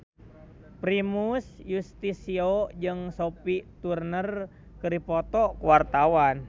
Primus Yustisio jeung Sophie Turner keur dipoto ku wartawan